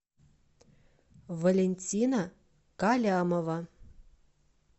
валентина калямова